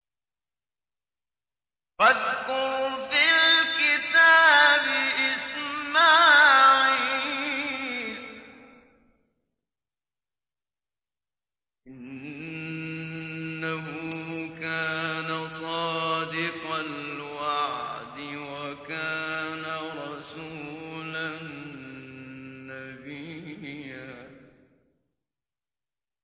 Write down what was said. وَاذْكُرْ فِي الْكِتَابِ إِسْمَاعِيلَ ۚ إِنَّهُ كَانَ صَادِقَ الْوَعْدِ وَكَانَ رَسُولًا نَّبِيًّا